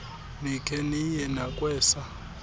nikhe niye nakwesa